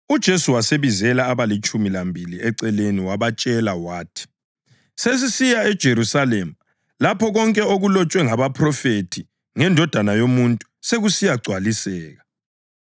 UJesu wasebizela abalitshumi lambili eceleni wabatshela wathi, “Sesisiya eJerusalema lapho konke okulotshwe ngabaphrofethi ngeNdodana yoMuntu sekusiya gcwaliseka.